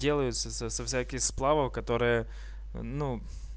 делаются с с со всяких сплавов которые ну